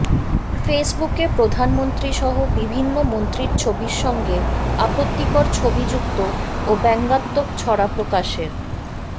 ফেসবুকে প্রধানমন্ত্রীসহ বিভিন্ন মন্ত্রীর ছবির সঙ্গে আপত্তিকর ছবি যুক্ত ও ব্যঙ্গাত্মক ছড়া প্রকাশের